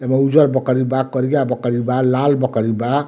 एमअ उज्जर बकरी बा करिया बकरी बा लाल बकरी बा।